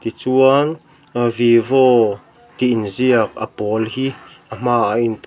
tichuan ahh vivo tih inziak a pawl hi a hma ah a in--